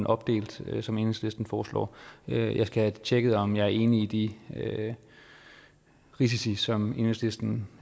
opdelt som enhedslisten foreslår jeg skal have tjekket om jeg er enig i de risici som enhedslisten